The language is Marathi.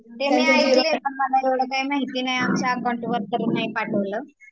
ते मी ऐकले पण मला एवढ काही माहिती नाही आमच्या अकाऊंट वर तरी नाही पाठवलं